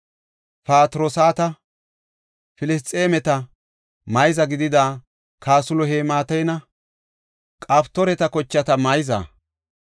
Patroosata, Filisxeemeta, mayza gidida Kasluheematanne Qaftooreta kochata mayza.